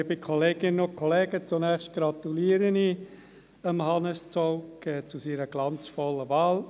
Zunächst gratuliere ich Hannes Zaugg zu seiner glanzvollen Wahl.